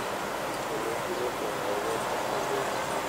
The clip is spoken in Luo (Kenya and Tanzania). Kendo ne ji pong` ahinya e chokruoge gi.